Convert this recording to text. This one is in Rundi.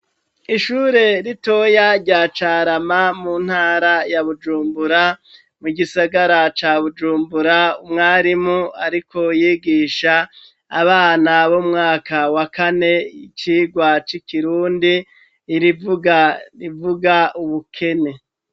Ishure ritoya rya Carama mu ntara ya Bujumbura, mu gisagara ca Bujumbura, umwarimu ariko yigisha abana b'umwaka wa kane, icigwa c'ikirundi, irivuga rivuga ubukene.